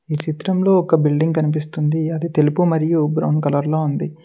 చిత్రంలో ఒక బిల్డింగ్ కనిపిస్తుంది అది తెలుపు మరియు బ్రౌన్ కలర్ లో ఉంది.